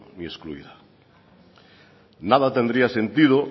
ni excluida nada tendría sentido